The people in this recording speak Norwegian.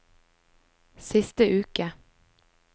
siste uke